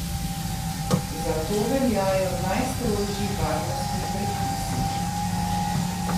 Zato veljajo najstrožji varnostni predpisi.